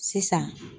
Sisan